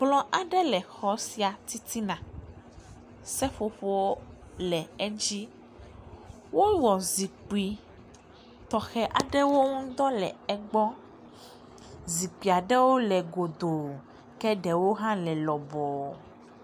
Kplɔ aɖe le xɔ sia titina, seƒoƒo le edzi, wowɔ zikpui tɔxɛ aɖewo ŋdɔ le egbɔ, zikpuia ɖewo le godoo ke ɖewo hã le lɔbɔɔ.